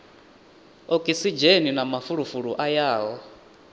okisidzheni na mafulufulu a yaho